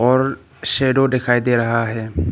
और शैडो दिखाई दे रहा है।